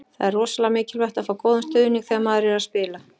Það er rosalega mikilvægt að fá góðan stuðning þegar maður er að spila.